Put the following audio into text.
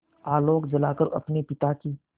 आलोक जलाकर अपने पिता की